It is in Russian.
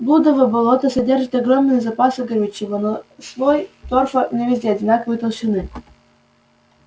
блудово болото содержит огромные запасы горючего но слой торфа не везде одинаковой толщины